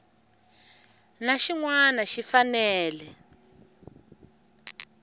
na xin wana xi fanele